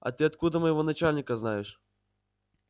а ты откуда моего начальника знаешь